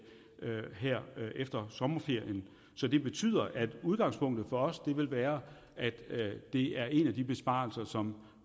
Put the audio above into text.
her efter sommerferien så det betyder at udgangspunktet for os vil være at det er en af de besparelser som